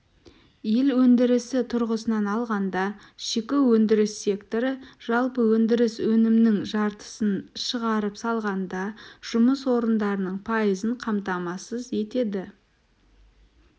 ел өндірісі тұрғысынан алғанда шикі өндіріс секторы жалпы өндіріс өнімінің жартысын шығарып саладағы жұмыс орындарының пайызын қамтамасыз етеді